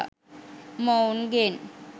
මොවුන් ගෙන්